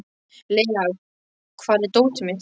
Lea, hvar er dótið mitt?